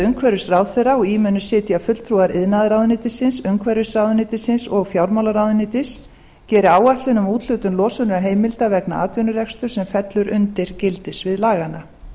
umhverfisráðherra og í munu sitja fulltrúar iðnaðarráðuneytisins umhverfisráðuneytisins og fjármálaráðuneytis geri áætlun um úthlutun losunarheimilda vegna atvinnurekstri sem fellur undir gildissvið laganna